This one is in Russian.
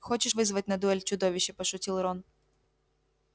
хочешь вызвать на дуэль чудовище пошутил рон